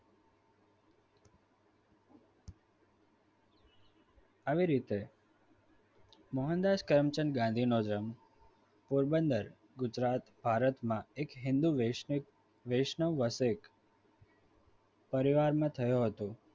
આવી રીતે મોહનદાસ કરમચંદ ગાંધી નો જન્મ પોરબંદર ગુજરાત ભારતમાં એક હિંદુ પરિવારમાં વૈષ્ણવ વસેક પરિવારમાં થયો હતો.